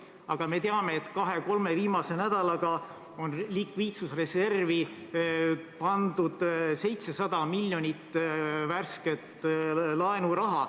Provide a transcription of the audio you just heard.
Aga me teame, et kahe-kolme viimase nädalaga on likviidsusreservi pandud 700 miljonit värsket laenuraha.